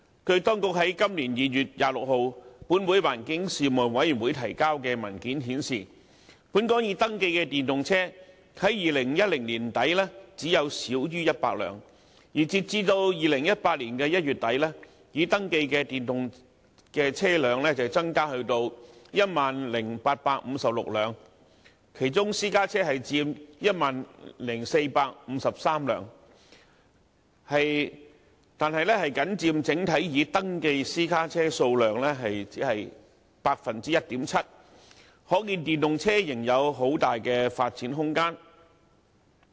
據當局在今年2月26日，向立法會環境事務委員會提交的文件顯示，本港已登記的電動車，在2010年年底只有少於100輛，而截至2018年1月底，已登記的電動車增加至 10,856 輛，其中私家車佔 10,453 輛，但僅佔整體已登記私家車數量 1.7%， 可見電動車仍有很大的發展空間。